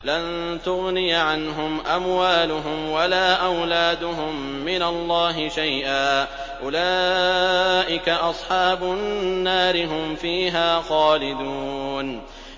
لَّن تُغْنِيَ عَنْهُمْ أَمْوَالُهُمْ وَلَا أَوْلَادُهُم مِّنَ اللَّهِ شَيْئًا ۚ أُولَٰئِكَ أَصْحَابُ النَّارِ ۖ هُمْ فِيهَا خَالِدُونَ